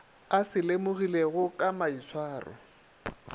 a se lemogilego ka maitshwaro